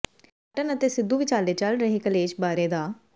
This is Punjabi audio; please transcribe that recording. ਕੈਪਟਨ ਅਤੇ ਸਿੱਧੂ ਵਿਚਾਲੇ ਚੱਲ ਰਹੇ ਕਲੇਸ਼ ਬਾਰੇ ਡਾ